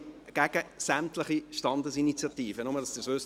Ich bin gegen sämtliche Standesinitiativen, nur damit Sie dies wissen.